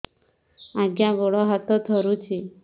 ଆଜ୍ଞା ଗୋଡ଼ ହାତ ଥରୁଛି